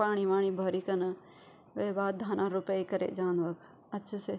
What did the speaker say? पाणी वाणी भरिकन वे बाद धान रुपे करे जान्द वख अच्छ से।